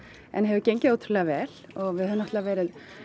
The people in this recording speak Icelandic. en hefur gengið ótrúlega vel og við höfum náttúrulega verið